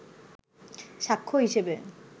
সাক্ষ্য হিসেবে